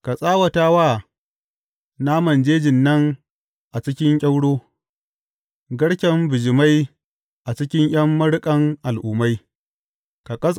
Ka tsawata wa naman jejin nan a cikin kyauro, garken bijimai a cikin ’yan maruƙan al’ummai.